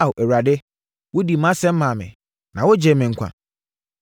Ao Awurade, wodii mʼasɛm maa me; na wogyee me nkwa.